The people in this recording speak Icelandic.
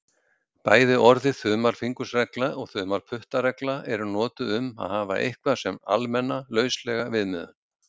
Bæði orðið þumalfingursregla og þumalputtaregla eru notuð um að hafa eitthvað sem almenna, lauslega viðmiðun.